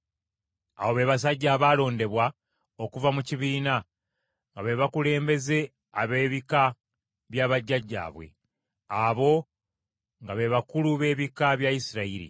Abo be basajja abaalondebwa okuva mu kibiina, nga be bakulembeze ab’ebika bya bajjajjaabwe. Abo nga be bakulu b’ebika bya Isirayiri.